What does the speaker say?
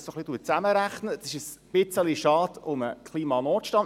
Es ist ein wenig schade um den Klimanotstand.